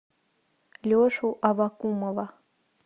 лешу аввакумова